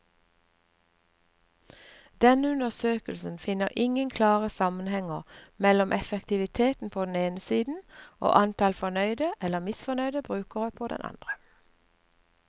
Denne undersøkelsen finner ingen klare sammenhenger mellom effektivitet på den ene siden og antall fornøyde eller misfornøyde brukere på den andre.